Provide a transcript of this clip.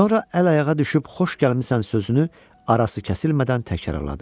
Sonra əl-ayağa düşüb xoş gəlmisən sözünü arası kəsilmədən təkrarladı.